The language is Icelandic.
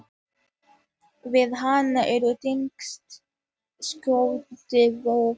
Við hana er tengt sjónvarp.